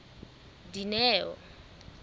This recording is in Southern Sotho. dineo